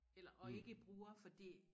Eller og ikke bruger fordi